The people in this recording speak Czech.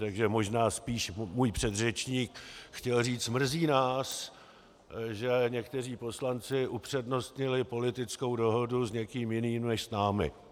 Takže možná spíš můj předřečník chtěl říct: mrzí nás, že někteří poslanci upřednostnili politickou dohodu s někým jiným než s námi.